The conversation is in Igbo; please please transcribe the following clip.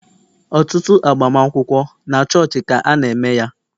Ọtụtụ agbamakwụkwọ, na chọọchị ka ana -eme ya.